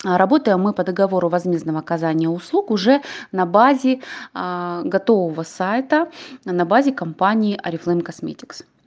работаем мы по договору возмездного оказания услуг уже на базе готового сайта а на базе компании орифлейм косметикс